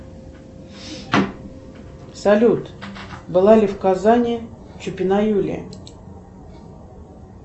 салют была ли в казани чупина юлия